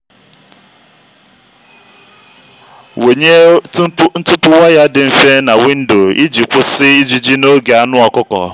wụnye ntupu waya dị mfe na windo iji kwụsị ijiji n'oge anụ ọkụkọ.